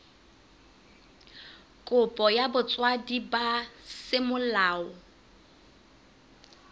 kopo ya botswadi ba semolao